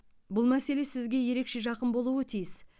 бұл мәселе сізге ерекше жақын болуы тиіс